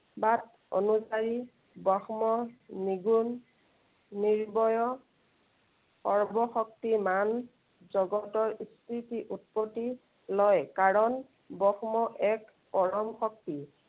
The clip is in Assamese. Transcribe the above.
বাদ অনুযায়ী ব্ৰহ্ম নিগুণ, নিৰ্ভয়, সৰ্ব শক্তিমান, জগতৰ স্মৃতি, উৎপত্তি লয়। কাৰন ব্ৰহ্ম এক পৰম শক্তি।